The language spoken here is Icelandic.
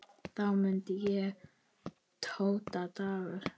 Þá mundi ég: Dóta Dagur.